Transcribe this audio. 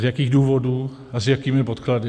Z jakých důvodů a s jakými podklady.